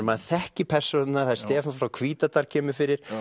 maður þekkir persónurnar Stefán frá Hvítadal kemur fyrir